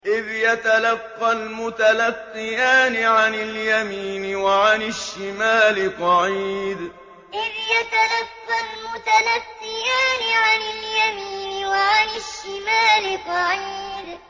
إِذْ يَتَلَقَّى الْمُتَلَقِّيَانِ عَنِ الْيَمِينِ وَعَنِ الشِّمَالِ قَعِيدٌ إِذْ يَتَلَقَّى الْمُتَلَقِّيَانِ عَنِ الْيَمِينِ وَعَنِ الشِّمَالِ قَعِيدٌ